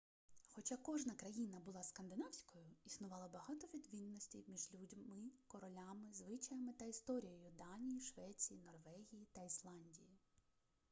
хоча кожна країна була скандинавською' існувало багато відмінностей між людьми королями звичаями та історією данії швеції норвегії та ісландії